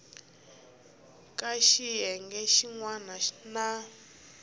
ka xiyenge xin wana na